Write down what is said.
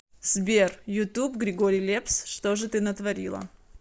сбер ютуб григорий лепс что ж ты натворила